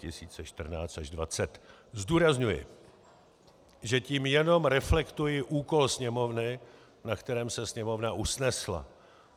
Zdůrazňuji, že tím jenom reflektuji úkol Sněmovny, na kterém se Sněmovna usnesla.